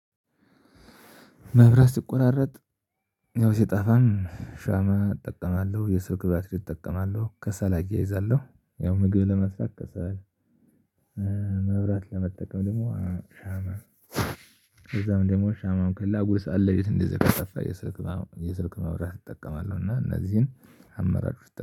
መብራት ስቆራረጥ ያው ሲጣፋም ሻማ እጠቀማለሁ የሰው ግብአቶች እጠቀማለሁ ከሰል አያይዛለሁ ያው ምግብ ለመስራት ከሰል። መብራት ለመጠቀም ደግሞ ሻማ ከዛም ደግሞ ሻማውን ፍላጎት ሳለ እንደዚህ ከጠፋ የስልክ መብራት እጠቀማለሁ። እና እነዚህን አማራጮች